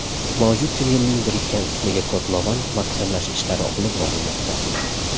Mavjud tunnelning birikkan qismiga kotlovan mahkamlash ishlari olib borilmoqda.